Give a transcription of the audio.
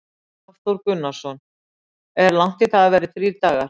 Hafþór Gunnarsson: Er langt í það að það verði þrír dagar?